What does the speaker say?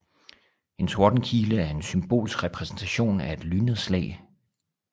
En tordenkile er en symbolsk repræsentation af et lynnedslag